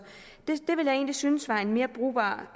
egentlig synes var en mere brugbar